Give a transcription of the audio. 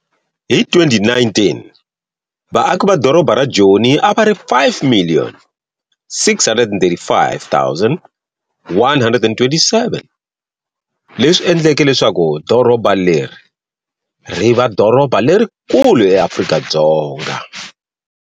Hi 2019, vaaki va doroba ra Joni a va ri 5,635,127, leswi endleke leswaku doroba leri ri va doroba lerikulu eAfrika-Dzonga.